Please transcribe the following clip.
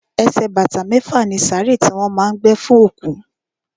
Ẹsẹ̀ bàtà mẹ́fà ni sàárè tí wọ́n má a ń gbé fún òkú.